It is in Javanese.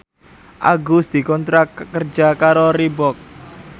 Agus dikontrak kerja karo Reebook